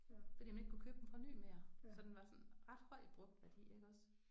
Fordi man ikke kunne købe den fra ny mere så den var sådan ret høj i brugt værdi iggås